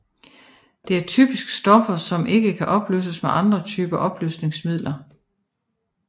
Det er typisk stoffer som ikke kan opløses med andre typer opløsningsmidler